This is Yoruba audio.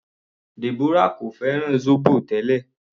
Deborah kò fẹ́ràn zobo tẹ́lẹ̀.